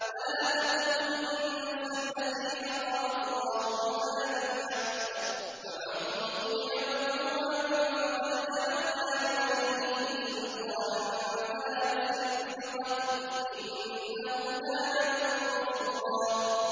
وَلَا تَقْتُلُوا النَّفْسَ الَّتِي حَرَّمَ اللَّهُ إِلَّا بِالْحَقِّ ۗ وَمَن قُتِلَ مَظْلُومًا فَقَدْ جَعَلْنَا لِوَلِيِّهِ سُلْطَانًا فَلَا يُسْرِف فِّي الْقَتْلِ ۖ إِنَّهُ كَانَ مَنصُورًا